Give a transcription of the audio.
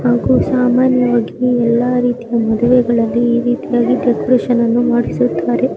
ಇದು ಸಾಮಾನ್ಯವಾಗಿ ಎಲ್ಲಾ ರೀತಿಯ ಮದುವೆಗಳಲ್ಲಿ ಈ ರೀತಿ ಡೆಕೋರೇಷನ್ ಮಾಡಿಸಿರುತ್ತಾರೆ.